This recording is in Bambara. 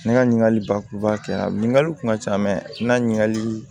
Ne ka ɲininkali bakuruba kɛra ɲininkali kun ka ca mɛ n ka ɲininkali